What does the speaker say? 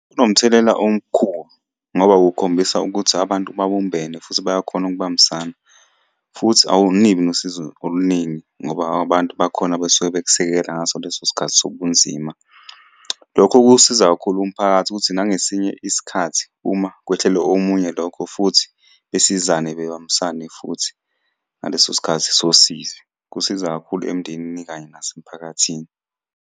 Kunomthelela omkhulu, ngoba kukhombisa ukuthi abantu babumbene futhi bayakhona ukubambisana futhi awuluningi usizo oluningi ngoba abantu bakhona basuke bekusekela ngaso leso sikhathi sobunzima. Lokho kuwusiza kakhulu umphakathi ukuthi nangesinye isikhathi uma kwehlele omunye lokho, futhi besizane bebambisane, futhi ngaleso sikhathi sosizi. Kusiza kakhulu emndenini kanye nasemphakathini.